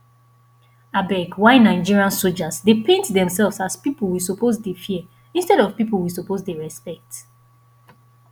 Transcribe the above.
abeg why nigerian soldiers dey paint themselves as people we suppose dey fear instead of people we suppose dey respect